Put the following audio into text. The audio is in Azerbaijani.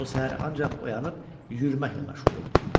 O səhər ancaq oyanıb yürüməklə məşğul oldu.